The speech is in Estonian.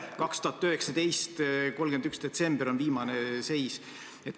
2019. aasta 31. detsember on viimane seis.